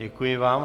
Děkuji vám.